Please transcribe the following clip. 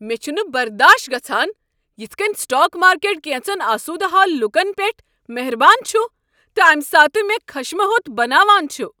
مے٘ چھُنہٕ برداشت گژھان یتھ كٔنۍ سٹاک مارکیٹ كینژن آسودٕ حال لوٗکن یٹھ مہربان چھ تہٕ امہ ساتہٕ مےٚ خشمہ ہوٚت بناوان چھُ۔